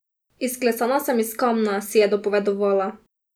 Izklesana sem iz kamna, si je dopovedovala.